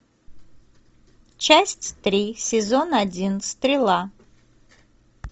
часть три сезон один стрела